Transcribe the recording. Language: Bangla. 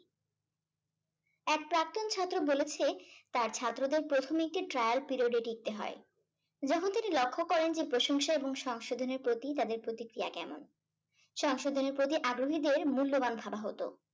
এক প্রাক্তন ছাত্র বলেছে তার ছাত্রদের প্রথমে একটি trial period এ টিকতে হয়। যখন তিনি লক্ষ্য করেন যে প্রশংসা এবং সংশোধনের প্রতি তাদের প্রতিক্রিয়া কেমন। সংশোধনের প্রতি আগ্রহীদের মূল্যবান ভাবা হতো।